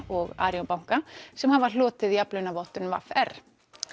og ARION banka sem hafa hlotið jafnlaunavottun v r